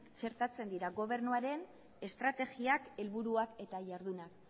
txertatzen dira gobernuaren estrategiak helburuak eta jardunak